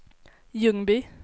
Ljungby